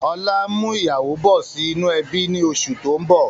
Ọlá ń mú ìyàwó bọ̀ sì inú ẹbi ni oṣù tó ń bọ̀